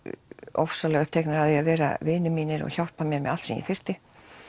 ofsalega uppteknir af því að vera vinir mínir og hjálpa mér með allt sem ég þyrfti